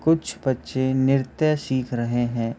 कुछ बच्चे नृत्य सिख रहे हैं।